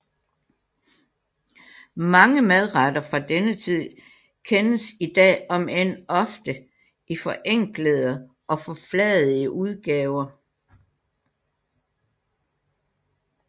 Mange madretter fra denne tid kendes i dag omend ofte i forenklede og forfladigede udgaver